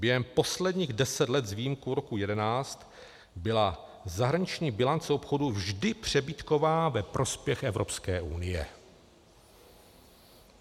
Během posledních deseti let s výjimkou roku 2011 byla zahraniční bilance obchodu vždy přebytková ve prospěch Evropské unie.